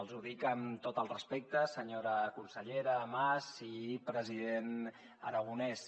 els ho dic amb tot el respecte senyora consellera mas i president aragonès